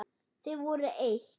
Þið voruð eitt.